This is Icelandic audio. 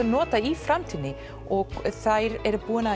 notað í framtíðinni og þær eru búnar